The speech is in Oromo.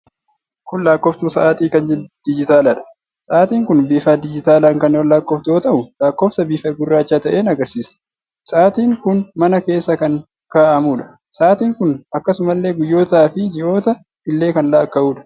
Kun lakkooftuu sa'aatii kan digitaalaadha. Sa'aatiin kun bifa digitaalaan kan lakkooftu yoo ta'u, lakkoofsa bifa gurraacha ta'een agarsiisti. Sa'aatiin kun mana keessa kan kaa'amuudha. Sa'aatiin kun akkasumallee guyyoota fi ji'oota illee kan lakkaa'udha.